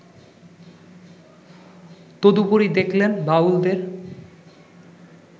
তদুপরি দেখলেন বাউলদের